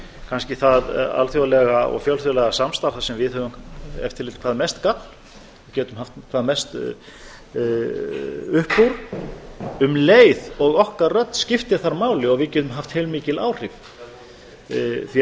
kannski það alþjóðlega og fjölþjóðlega samstarf þar sem við höfum ef til vill hvað mest gagn og getum haft hvað mest upp úr um leið og okkar rödd skiptir þar máli og við getum haft heilmikil áhrif því